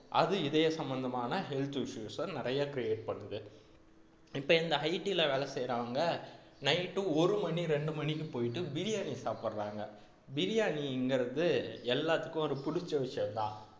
அது இதய சம்பந்தமான health issues அ நிறைய create பண்ணுது இப்ப இந்த IT ல வேலை செய்யறவங்க night ஒரு மணி இரண்டு மணிக்கு போயிட்டு பிரியாணி சாப்பிடறாங்க பிரியாணிங்கிறது எல்லாத்துக்கும் ஒரு பிடிச்ச விஷயம்தான்